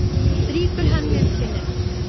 Strýkur henni um kinnina.